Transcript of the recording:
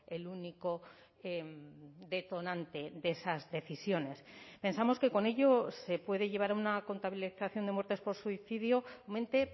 el único detonante de esas decisiones pensamos que con ello se puede llevar a una contabilización de muertes por suicidio mente